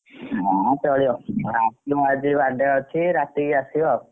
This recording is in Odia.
ହଉ ଚଳିବ ଆସିବ ଆଜି birthday ଅଛି ରାତିକି ଆସିବ ଆଉ।